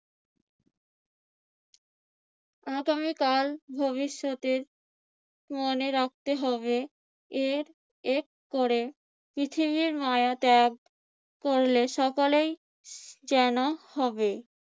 আগামীকাল ভবিষ্যতে মনে রাখতে হবে। এর এক করে পৃথিবীর মায়া ত্যাগ করলে সকলেই যেন হবে।